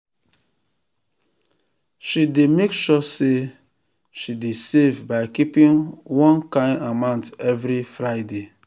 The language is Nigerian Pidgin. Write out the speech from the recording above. she dey make sure say she um dey save by keeping one um kind amount every friday.